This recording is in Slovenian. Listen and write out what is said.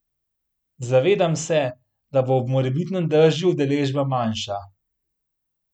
Zavedam se, da bo ob morebitnem dežju udeležba manjša.